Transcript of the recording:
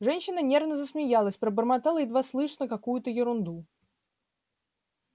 женщина нервно засмеялась пробормотала едва слышно какую-то ерунду